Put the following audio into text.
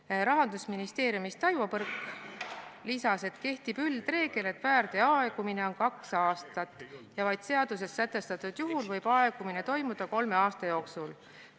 Taivo Põrk Rahandusministeeriumist lisas, et kehtib üldreegel, et väärteo aegumise aeg on kaks aastat ja vaid seaduses sätestatud juhul võib aegumine toimuda kolme aasta jooksul.